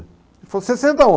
Ele falou, sessenta